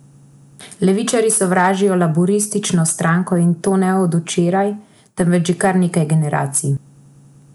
Desničarji sovražijo laburistično stranko, in to ne od včeraj, temveč že kar nekaj generacij.